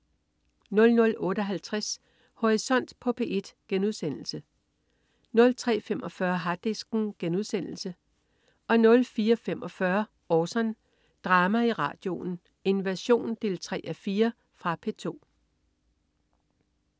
00.58 Horisont på P1* 03.45 Harddisken* 04.45 Orson. Drama i radioen: Invasion 3:4. Fra P2